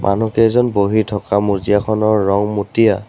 মানুহকেইজন বহি থকা মজিয়াখনৰ ৰং মটীয়া।